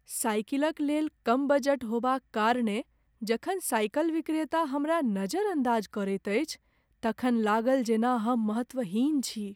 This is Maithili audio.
साइकिलक लेल कम बजट होबाक कारणेँ जखन साइकिल विक्रेता हमरा नज़रअंदाज़ करैत अछि तखन लागल जेना हम महत्वहीन छी ।